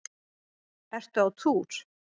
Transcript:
Ertu á túr?